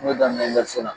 N y'o daminɛ vezara